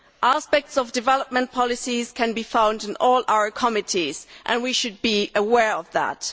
Aspects of development policies can be found in all our committees, and we should be aware of that.